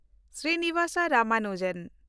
Srinivas Ramanujan